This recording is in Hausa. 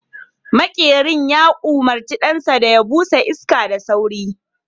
maƙerin ya umarci ɗansa da ya busa iska da sauri